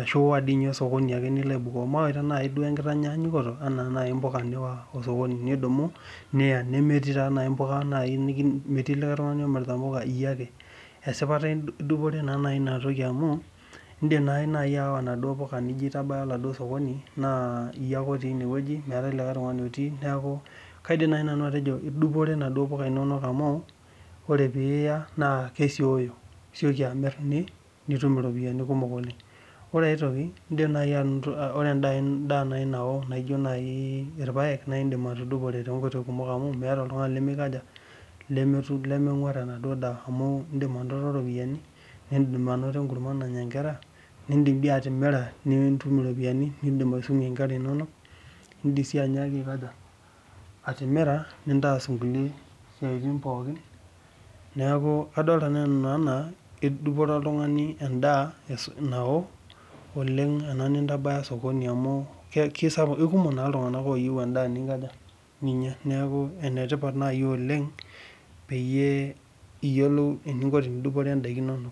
ashu iyawa nai osokoni niko aibukoo mawaita nai enkitanyanyuko niyawa mpuka osokoni nemetii likae tungani omirita mpuka iyiake ,esipata idupore nai amu indim nai ayawa naduo puka ihie ake otii ine neaku kaidim nanu atejo idupore naduo puka inonok amu ore piya na kesioyo nitum iropiyani kumok oleng ore nai enkae toki ore endaa nao nijo irpaek indim anibatudupore amu meeta oltungani lemikaja lemenguar enadaa amu indik ainoto ropiyani nitum enkurma nanya nkera nidim atimira nitum iropiyani nidim atimira nintaas nkulie siatin pooki neaku kadol nanu ajo idupore endaa nao ena niya osokoni amu kekumok ltunganak neaku enetipat nai oleng teniyiolou eninko peidupire ndakin inonok